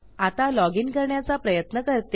आता log in करण्याचा प्रयत्न करते